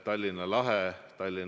Tänan, juhataja!